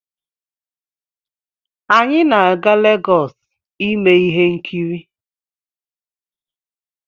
Anyị na-aga Legọs ime ihe nkiri.